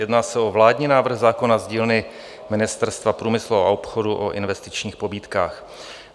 Jedná se o vládní návrh zákona z dílny Ministerstva průmyslu a obchodu o investičních pobídkách.